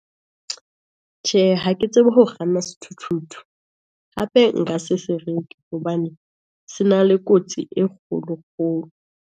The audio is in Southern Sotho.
Tjhe ha ke tsebe ho kganna sethuthuthu, hape nka se se reke hobane, se na le kotsi e kgolo kgolo.